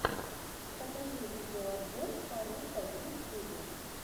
покажи видеообзор фарруко в ютьюбе